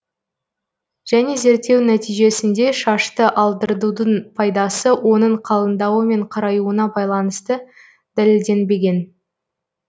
және зерттеу нәтижесінде шашты алдыртудың пайдасы оның қалыңдауы мен қараюына байланысты дәлелденбеген